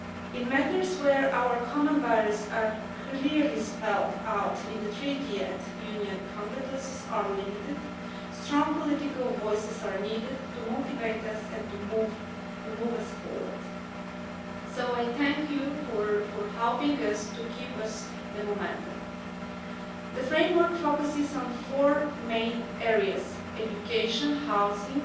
In matters where our common values are clearly spelt out in the Treaty yet Union competences are limited, strong political voices are needed to motivate us and to move us forward, so I thank you for helping us to keep the momentum. The framework focuses on four main areas education, housing,